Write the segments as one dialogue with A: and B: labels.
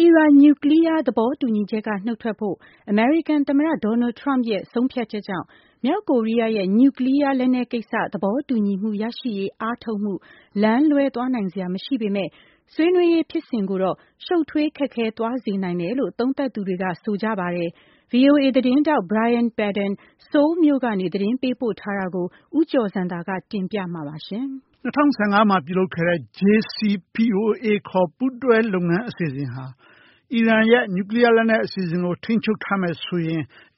A: အီရန်နျူကလီးယား သဘောတူညီချက်က နုတ်ထွက်ဖို့ အမေရိကန်သမ္မတ Donald Trump ရဲ့ ဆုံးဖြတ်ချက်ကြောင့် မြောက်ကိုရီးယားရဲ့ နျူကလီးယားလက်နက်ကိစ္စ သဘောတူညီမှုရရှိရေး အားထုတ်မှု လမ်းလွဲသွားနိုင်စရာမရှိပေမဲ့ ဆွေးနွေးရေးဖြစ်စဉ်ကိုတော့ ရှုပ်ထွေးခက်ခဲ သွားစေနိုင်တယ်လို့ သုံးသပ်သူတွေက ဆိုနေကြပါတယ်။ VOA သတင်းထောက် Brian Padden ဆိုးလ်မြို့ကနေ သတင်းပေးပို့ထားတာကို ဦးကျော်ဇံသာက တင်ပြမှာပါ။
B: ၂၀၁၅ မှာပြုလုပ်ခဲ့တဲ့ JCPOA ခေါ်ပူးတွဲ လုပ်ငန်းအစီအစဉ်ဟာ အီရန်က နျူကလီးယားလက်နက် အစီအစဉ်ကိုထိန်းချုပ်ရင်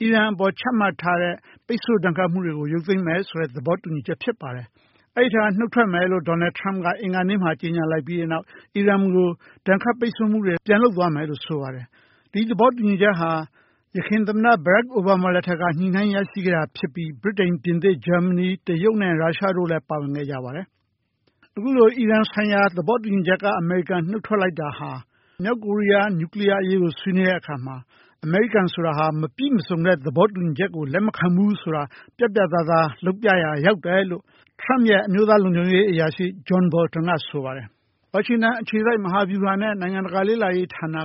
B: အီရန်အပေါ်ခချမှတ်ထားတဲ့ ပိတ်ဆို့ဒဏ်ခတ်မှုတွေကို ရုပ်သိမ်းမယ်လို့ သဘောတူထားတာဖြစ်ပါတယ်။ အဲဒီအထဲက နှုတ်ထွက်မယ်လို့ Donald Trump အင်္ဂါနေ့က ကြေညာလိုက်ပြီး အီရန်ကို ဒဏ်ခတ်ပိတ်ဆို့မှုတွေ ပြန်လုပ်မယ်လို့ဆိုပါတယ်။ ဒီသဘောတူညီချက်ဟာ ယခင်သမ္မတ Barack Obama လက်ထက်မှာ ရရှိခဲ့တာဖြစ်ပြီး ဗြိတိန်၊ ပြင်သစ်၊ ဂျာမနီ၊ တရုတ်နဲ့ရုရှားနဲ့တရုတ်တို့ပါဝင်ခဲ့ကြတာပါ။ ဒီလိုနုတ်ထွက်လိုက်တဲ့အတွက် မြောက်ကိုရီးယားနဲ့ အလားတူ နျူကလီယားအရေးဆွေးနွေးတဲ့အခါ “အမေရိကန်ဟာ မပြည့်စုံတဲ့ သဘောတူညီချက်မျိူးဆိုရင် လက်ခံမှာမဟုတ်ဘူး” ဆိုတာ ပြတ်ပြတ်သားသားပြသရာ ရောက်တယ်လို့ Trump ရဲ့ အမျိုးသားလုံခြုံရေးအရာရှိ John Bolton ကဆိုပါတယ်။ ဝါရှင်တန်အခြေစိုက် မဟာဗျူဟာနဲ့ နိုင်ငံတကာလေ့လာရေး ဌာန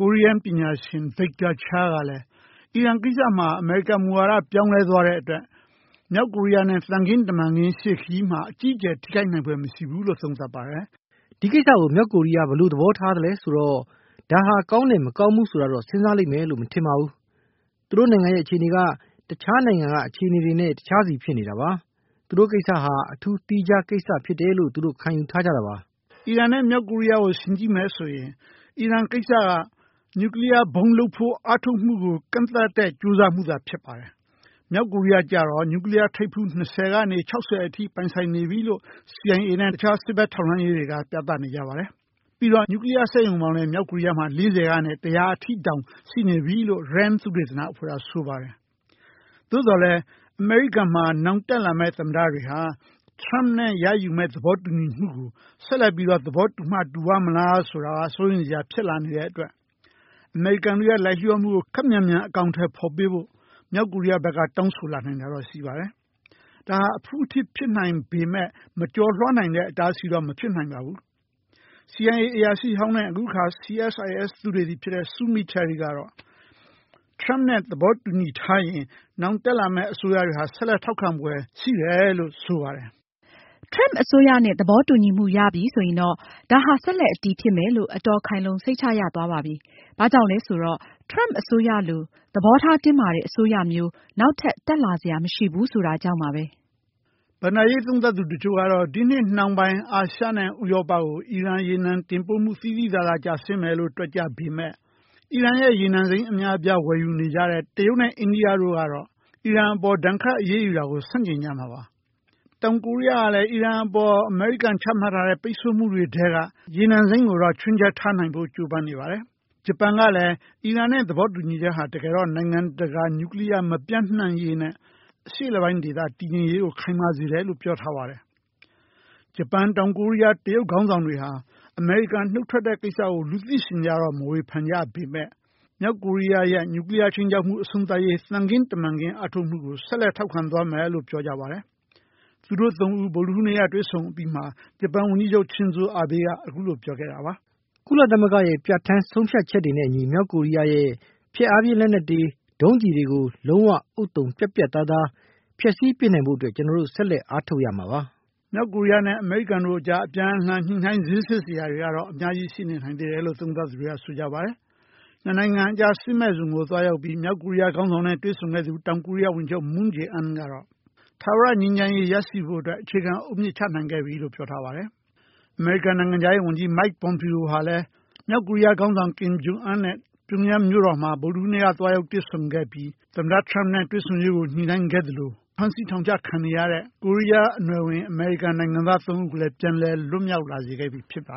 B: ကိုရီးယားပညာရှင် Victor Cha ကလဲ အီရန် ကိစ္စမှာ အမေရိကန်မူဝါဒ ပြောင်းလဲသွားပေမဲ့ မြောက်ကိုရီးယားနဲ့ သံခင်းတမန်ခင်းရှေ့ခရီးမှာ ထိခိုက်ဖွယ်မရှိဘူးလို့ဆိုပါတယ်။
A: “ဒီကိစ္စကို မြောက်ကိုရီးယားဘယ်လိုသဘောထားမလဲဆိုတော့ ဒါဟာကောငိးတယ်-ဆိုးတယ် ဆိုတာတော့ သူတို့စဉ်းစားလိမ့်မယ်မထင်ပါဘူး။ သူတို့နိုင်ငံရဲ့ အခြေအနေက ကျန်နိုင်ငံတွေနဲ့ မခြေမနေကတခြားစီဖြစ်နေတာပါ။ သုတို့ကိစ္စဟာ အထူးသီးခြားကိစ္စဖြစ်တယ်လို့ပဲ သူတို့ကယူဆထားတာပါ။
B: ” အီရန် နဲ့ မြောက်ကိုရီးယားကိုယှဉ်မယ်ဆိုရင် အီရန် ကိစ္စက နျူကလီးယားဗုံးထုတ်ဖို့ ကြိုးပမ်းမှု ကန့်သတ်ဖို့ ကြိုးစားတာသာဖြစ်ပြီး မြောက်ကိုရီးယားကျတော့ နျူကလီးယားထိပ်ဖူး ၂၀ ကနေ ၆၀ ထိ ပိုင်ဆိုင်ထားပြီလို့ CIA နဲ့ တခြား စစ်ဘက်ထောက်လှမ်းရေးတွေက ဆိုပါတယ်။ ပြီးတော့ နျူကလီးယား စက်ရုံပေါင်းလဲ ၄၀ ကနေ ၁၀၀ ထိ တောင်ရှိနေပြီလို့ RAND သုတေသနအဖွဲ့က ဆိုပါတယ်။ ဒါပေမဲ့ အမေရိကန်မှာ နောင်တက်လာမယ့် သမ္မတတွေက Trump နဲ့ရယူမယ့်သဘောတူညီချက်ကို ဆက်လက်သဘောတူမှတူပါ့မလား ဆိုတာ စိုးရိမ်စရာရှိနေတဲ့ အတွက် အမေရိကန်ရဲ့လိုက်လျှောမှုမှုတွေကို ခပ်မြန်မြန်အကောင်အထည်ဖေါ်ပေးဖို့ မြောက်ကိုရီးယားကတောင်းဆိုလာနိုင်ပါတယ်။ဒါဟာ အဖုအထစ်နဲနဲရှိနိုင်ပေမဲ့ မကျော်လွှားနိုင်တဲ့ အတားအဆီးတော့မဖြစ်နိုင်ပါဘူး။ CIA အရာရှိဟောင်း နဲ့ လက်ရှိ CSIS သုတေသီ Sue Mi Terry ကတော့Trump နဲ့ သဘောတူထားရင် နောင်တက်လာမယ့်အစိုးရတွေဆက်လက်ထောက်ခံဖွယ် အလားအလာရှိလို့ဆိုပါတယ်။ “Trump အစ
A: ိုးရနဲ့ သဘောတူညီမှုရပြီဆိုရင်တော့ ဒါဟာ ဆက်လက်အတည်ဖြစ်မယ်လို့ အတော်ခိုင်လုံ စိတ်ချရသွားပါပြီ။ ဘာကြောင့်လဲဆိုတော့ Trump အစိုးရလိုသဘောထားတင်းမာတဲ့ အစိုးရမျိုး နောက်ထပ် တက်လာစရာမရှိဘူးဆိုတာကြောင့်ပါပဲ။
B: ” ဘဏ္ဍာရေးသုံးသပ်သူတချို့က ဒီနှစ်နှောင်းပိုင်း အာရှနဲ့ဥရောပကို အီရန် ရေနံတင်ပို့မှု သိသိသာသာ ကျဆင်းသွားမယ်လို့ တွက်ကြပေမဲ့ အီရန် ရေနံစိမ်းအများအပြားတင်သွင်းနေတဲ့ တရုတ်နဲ့ အိန္ဒိယတို့က အီရန် အပေါ်ဒဏ်ခတ်အရေးယူတာကို ဆန့်ကျင်ကြတာပါ။ တောင်ကိုရီးယားကလဲ အီရန် အပေါ် ဒဏ်ခတ်အရေးယူတာကို ဆန့်ကျင်ကြတာပါ။ တောင်ကိုရီးယားကလဲ အီရန် အပေါ်ချမှတ်ထားတဲ့ ပိတ်ဆို့မှုတွေထဲက ရေနံစိမ်းကို ချွင်းချက်ထားဖို့ ကြိုပမ်းနေပါတယ်။ ဂျပန်ကလဲ အီရန် နဲ့သဘောတူညီချက်ဟာ နိုင်ငံတကာ နျူကလီးယားမပျံ့ပွားရေးနဲ့ အရှေ့အလယ်ပိုင်း တည်ငြိမ်ရေးကို ခိုင်မာစေတယ်လို့ ပြောပါတယ်။ ဂျပန်၊ တောင်ကိုရီးယား နဲ့ တရုတ်ခေါင်းဆောင်တွေဟာ အမေရိကန်နှုတ်ထွက်တဲ့ကိစ္စကို လူသိရှင်ကြားတော့မဝေဖန်ကြပေမဲ့ မြောက်ကိုရီးယားရဲ့ နျူကလီးယားခြိမ်းခြောက်မှုအဆုံးသတ်ရေး သံခင်းတမန်ခင်းအားထုတ်မှုကို ဆက်လက်ထောက်ခံသွားမယ်လို့ပြောကြပါတယ်။ သူတို့ ၃ ဦး ဗုဒ္ဒဟူူးနေ့မှာတွေ့ဆုံပြီး ဂျပန်ဝန်ကြီးချုပ် Shinza Abe ကဆိုရင် အခုလိုပြောခဲ့တာပါ။
A: “ကုလသမဂ္ဂရဲ့ပြဌာန်းချက် တွေနဲ့အညီ မြောက်ကိုရီးယားရဲ့ ဖျက်အားဖြင်းလက်နက်တွေ ဒုံးကျည်တွေကို လုံးဝဥဿုံ ပြတ်ပြတ်သားသား ဖျက်ဆီးပစ်နိုင်ဖို့ အတွက် ကျွန်တော် ဆက်လက်အားထုတ်သွားရမှာပါ
B: ။” မြောက်ကိုရီးယားနဲ့ အမေရိကန်တို့အကြား အပြန်အလှန်ညှိုနှိုင်း ဈေးဆစ်စရာတွေကတော့ အများကြီး ရှိနေနိုင်တယ်လို့ သုံးသပ်သူတွေက ဆိုကြပါတယ်။ နှစ်နိုင်ငံကြား စစ်မဲ့ဇုံနေရာကို သွားရောက်ပြီး မြောက်ကိုရီးယားခေါင်းဆောင်နဲ့ တွေ့ဆုံခဲ့သူ တောင်ကိုရီးယားဝန်ကြီးချုပ် Moon Jae In ကတော့ ထာဝရငြိမ်းချမ်းရေး ရနိုင်ဖို့အတွက် အခြေခံအုတ်မြစ် ချနိုင်ခဲ့ပြီလို့ ပြောထားပါတယ်။ အမေရိကန်နိုင်ငံခြားရေးဝန်ကြီး Mike Pompeo ဟာလဲ မြောက်ကိုရီးယားခေါင်းဆောင် Kim Jung Un နဲ့ ပြုံးရမ်းမြို့တော်မှာ ဗုဒ္ဓဟူးနေ့က သွားရောက်တွေ့ဆုံခဲ့ပြီး သမ္မတ ထရမ့်နဲ့ တွေ့ဆုံရေးအတွက် ညှိုနှိုင်းခဲ့သလို ဖမ်းဆီးထောင်ချခံနေရတဲ့ ကိုးရီးယားအနွယ်ဝင် အမေရိကန်နိုင်ငံသား သုံးဦးကိုလည်း ပြန်လည်လွတ်မြောက်လာစေခဲ့ပြီဖြစ်ပါ